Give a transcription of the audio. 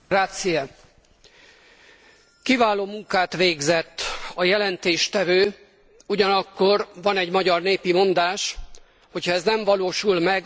Kiváló munkát végzett a jelentéstevő, ugyanakkor van egy magyar népi mondás, hogy ha ez nem valósul meg, annyit ér, mint döglött lovon a patkó.